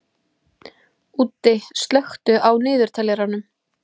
Úddi, slökktu á niðurteljaranum.